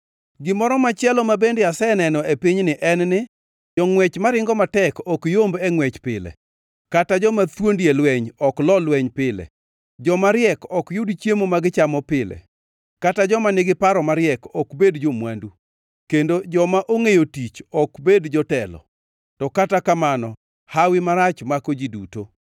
Gimoro machielo ma bende aseneno e pinyni en ni jongʼwech maringo matek ok yomb e ngʼwech pile, kata joma thuondi e lweny ok lo lweny pile, joma riek ok yud chiemo ma gichamo pile kata joma nigi paro mariek ok bed jo-mwandu, kendo joma ongʼeyo tich ok bed jotelo; to kata kamano hawi marach mako ji duto.